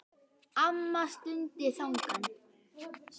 Amma stundi þungan.